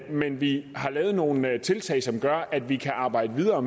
men vi har lavet nogle tiltag som gør at vi kan arbejde videre